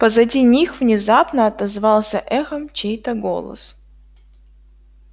позади них внезапно отозвался эхом чей-то голос